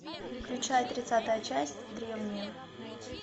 включай тридцатая часть древние